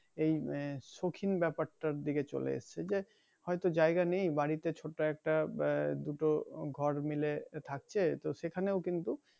এই উম সৌখিন ব্যাপারটা দিকে চলে এই যে হয়তো জায়গা নেই বাড়িতে ছোট একটা বা দুটো ঘর মিলে থাকছে তো সেখানেও কিন্তু